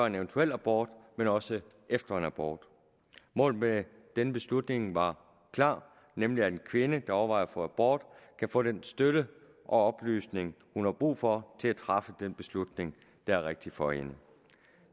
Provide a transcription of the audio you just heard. en eventuel abort men også efter en abort målet med denne beslutning var klar nemlig at en kvinde der overvejer at få abort kan få den støtte og oplysning hun har brug for til at træffe den beslutning der er rigtig for hende